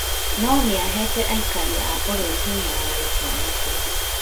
No nĩahete aikari a bũrũri hinya wa gũtua matua